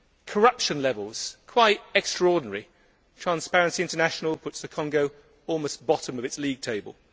corruption levels are quite extraordinary Transparency International puts the Republic of Congo almost bottom of its league table.